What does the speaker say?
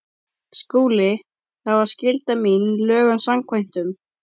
SKÚLI: Það var skylda mín lögum samkvæmt.